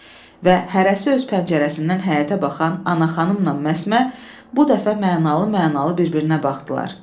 Və hərəsi öz pəncərəsindən həyətə baxan Ana xanımla Məsmə bu dəfə mənalı-mənalı bir-birinə baxdılar.